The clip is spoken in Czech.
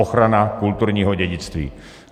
Ochrana kulturního dědictví.